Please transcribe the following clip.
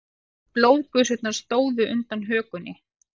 Blóðgusurnar stóðu undan hökunni.